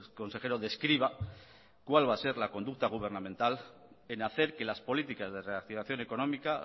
consejero describa cuál va a ser la conducta gubernamental en hacer que las políticas de reactivación económica